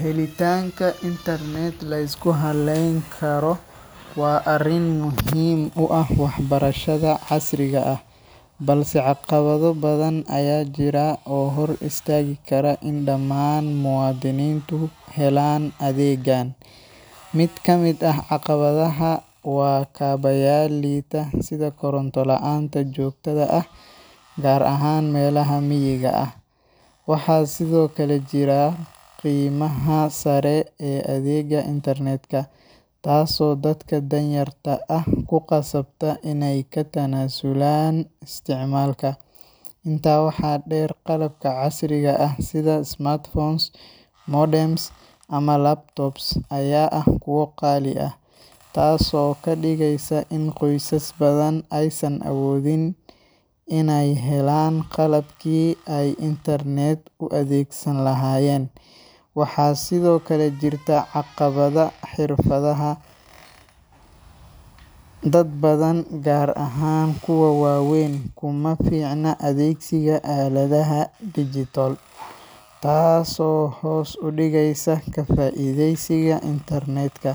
Helitanka internet lisku haleyn karo wa arin muhim u ah wax barashatha casriga ah, balse caqabadha badhan ayajira oo hor istagi Kara in damaan muwadinintu helan adegan. Mid kamid ah caqabadhaha wa kabayal lita sithi karonta laanta jogtadha ah, gar ahaan melaha miiga ah. Waxa sithokale jira qeymaha sari ee adega internetka ah, taaso dadka danyarta ah kuqasabta inay katanazulan isticmalka. inta waxa deer qalabka casriga ah sithi smartphones, modems ama laptops Aya ah kuwa qali ah taaso kadigeysa in qoysas bathan ay san awodhin, inay helan qalabki ay internet ay u athegsani lahayen, waxa sidhokale jirta caqabadha xirfadhaha, dad bathan gaar ahaan kuwa wa weyn kumaficna athegsitha aladhaha digital taaso hoos udigeysa ka faidheysiga internetka.